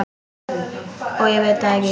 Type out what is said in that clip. Og ég veit það ekki.